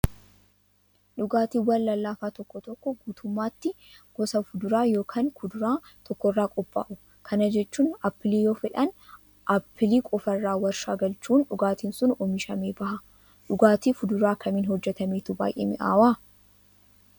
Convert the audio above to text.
Dhugaatiiwwan lallaafaa tokko tokko guutummaatti gosa fuduraa yookaan kuduraa tokkorraa qophaa'u. Kana jechuun appilii yoo fedhan appilii qofaarraa warshaa galchuun dhugaatiin sun oomishamee baha. Dhugaatii fuduraa kamiin hojjatametu baay'ee mi'aawaa?